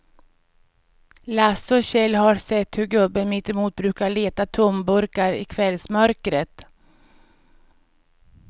Lasse och Kjell har sett hur gubben mittemot brukar leta tomburkar i kvällsmörkret.